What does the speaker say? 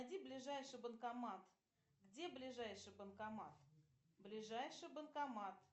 найди ближайший банкомат где ближайший банкомат ближайший банкомат